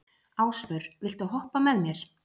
Ásvör, viltu hoppa með mér?